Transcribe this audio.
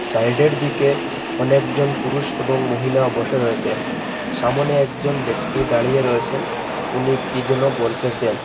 সাইডের দিকে অনেকজন পুরুষ এবং মহিলা বসে রয়েসেন সামোনে একজন ব্যক্তি দাঁড়িয়ে রয়েসেন উনি কী যেন বলতেসেন ।